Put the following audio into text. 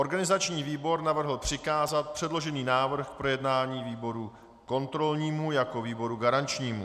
Organizační výbor navrhl přikázat předložený návrh k projednání výboru kontrolnímu jako výboru garančnímu.